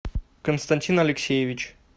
константин алексеевич